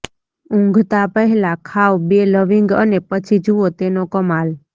ઊંઘતા પહેલા ખાવ બે લવિંગ અને પછી જુઓ તેનો કમાલ